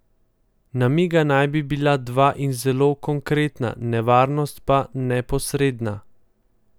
Namiga naj bi bila dva in zelo konkretna, nevarnost pa neposredna.